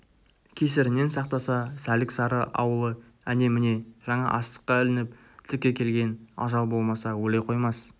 кесірінен сақтаса сәлік-сары ауылы әне-міне жаңа астыққа ілініп тіке келген ажал болмаса өле қоймас